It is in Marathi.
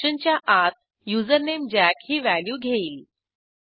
तर functionच्या आत युझरनेम जॅक ही व्हॅल्यू घेईल